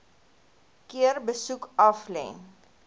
keer besoek aflê